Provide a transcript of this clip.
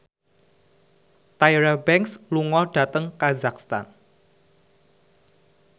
Tyra Banks lunga dhateng kazakhstan